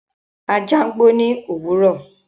Ajá gbó ní òwúrọ̀.